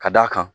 Ka d'a kan